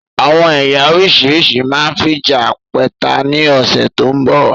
Àwọn ẹ̀yà oríṣiríṣi máa fija pẹ́ta ni ọ̀sẹ̀ tó ń bọ̀